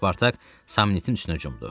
Spartak Samnitin üstünə cumdu.